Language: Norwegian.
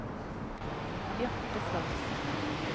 Bjarte Frantzen